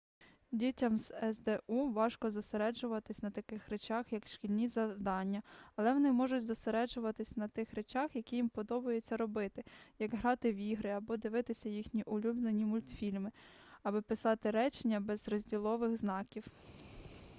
дітям з сду важко зосереджуватись на таких речах як шкільні завдання але вони можуть зосереджуватись на тих речах які їм подобається робити як грати в ігри або дивитись їхні улюблені мультфільми або писати речення без розділових знаків